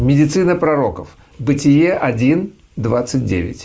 медицина пророков бытие один двадцать девять